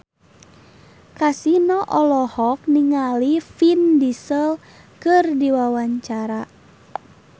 Kasino olohok ningali Vin Diesel keur diwawancara